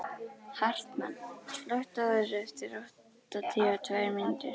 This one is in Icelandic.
Hartmann, slökktu á þessu eftir áttatíu og tvær mínútur.